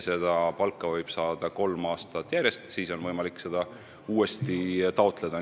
Seda palka võib saada kolm aastat järjest ja siis on võimalik seda uuesti taotleda.